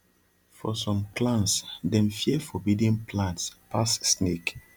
for some clans dem fear forbidden plants pass snake